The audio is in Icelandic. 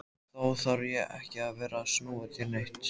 Þá þarf ég ekki að vera að snúa þér neitt.